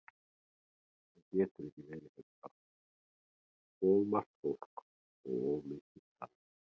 Hann getur ekki verið hérna í plássinu, of margt fólk og of mikið talað.